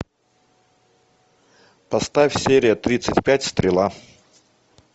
поставь серия тридцать пять стрела